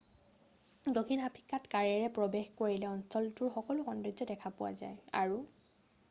দক্ষিণ আফ্ৰিকাত কাৰেৰে প্ৰৱেশ কৰিলে অঞ্চলটোৰ সকলো সৌন্দৰ্য দেখা পোৱা যায় আৰু